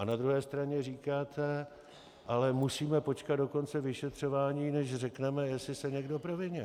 A na druhé straně říkáte: ale musíme počkat do konce vyšetřování, než řekneme, jestli se někdo provinil.